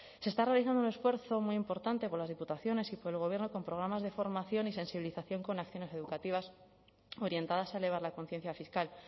se está realizando un esfuerzo muy importante por las diputaciones y por el gobierno con programas de formación y sensibilización con acciones educativas orientadas a elevar la conciencia fiscal